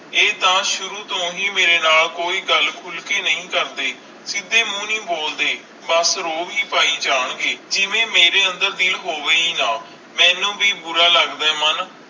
ਆਈ ਤਾ ਸ਼ੁਰੂ ਤੂੰ ਹੈ ਮੇਰੇ ਨਾਲ ਕੋਈ ਗੱਲ ਖੁਲ ਕਰ ਨਹੀਂ ਕਰਦੇ ਸੀਧੇ ਮੂੰਹ ਨਹੀਂ ਬੋਲਦੇ ਬਸ ਰੌਬ ਹੈ ਪੈ ਜਾਨ ਗਏ ਜਿਵੇ ਮੇਰੇ ਅੰਦਰ ਦਿਲ ਹੋਵੇ ਹੈ ਨਾ ਮੇਨੂ ਵੀ ਬੁਰਾ ਲੱਗਦਾ ਆਈ ਮਨ